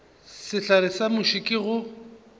sehlare sa muši ke go